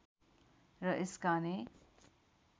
र यसका अनेक